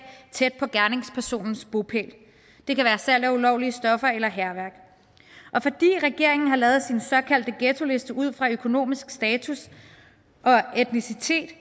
tæt på gerningspersonens bopæl det kan være salg af ulovlige stoffer eller hærværk og fordi regeringen har lavet sin såkaldte ghettoliste ud fra økonomisk status og etnicitet